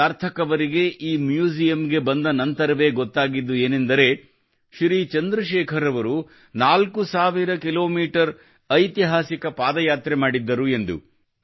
ಸಾರ್ಥಕ್ ಅವರಿಗೆ ಈ ಮ್ಯೂಸಿಯಂನಲ್ಲಿ ಬಂದ ನಂತರವೇ ಗೊತ್ತಾಗಿದ್ದು ಏನೆಂದರೆ ಶ್ರೀ ಚಂದ್ರಶೇಖರ್ ಅವರು 4000 ಕಿಲೋಮೀಟರ್ ಐತಿಹಾಸಿಕ ಪಾದಯಾತ್ರೆ ಮಾಡಿದ್ದರು ಅನ್ನುವುದು